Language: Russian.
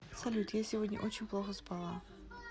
салют я сегодня очень плохо спала